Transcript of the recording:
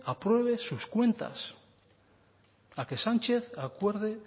apruebe